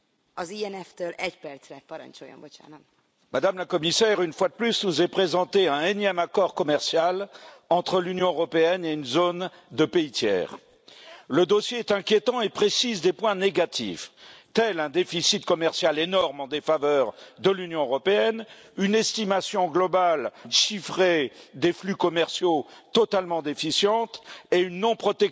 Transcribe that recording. Madame la Présidente, Madame la Commissaire, une fois de plus, nous est présenté un énième accord commercial entre l'Union européenne et une zone de pays tiers. Le dossier est inquiétant et comprend des points négatifs, tels un déficit commercial énorme en défaveur de l'Union européenne, une estimation globale chiffrée des flux commerciaux totalement déficiente et une non protection